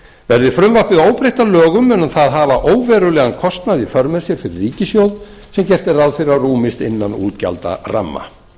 verði frumvarpið óbreytt að lögum mun það hafa óverulegan kostnað í för með sér fyrir ríkissjóð sem gert er ráð fyrir að rúmist innan útgjaldaramma